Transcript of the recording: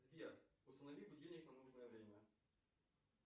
сбер установи будильник на нужное время